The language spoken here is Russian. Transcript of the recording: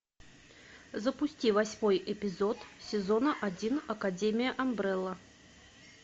запусти восьмой эпизод сезона один академия амбрелла